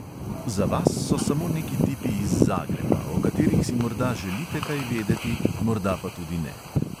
Za vas so samo neki tipi iz zagreba, o katerih si morda želite kaj vedeti, morda pa tudi ne.